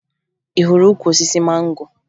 Ị hụrụ ukwu osisi mango?